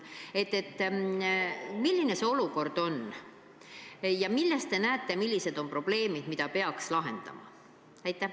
Milline see olukord on ja milles te näete probleeme, mida peaks lahendama?